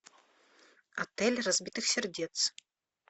отель разбитых сердец